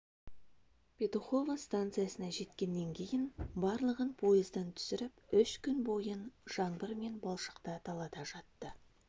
петухово станциясына жеткеннен кейін барлығын пойыздан түсіріп үш күн бойын жаңбыр мен балшықта далада жатты